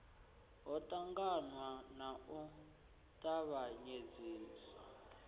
ho ṱangaṋwa na u tavhanyedziswa